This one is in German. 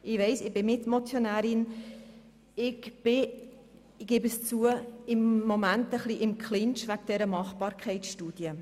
Ich bin Mitmotionärin und im Moment ein bisschen im Clinch wegen der Machbarkeitsstudie.